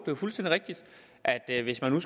jo fuldstændig rigtigt at hvis man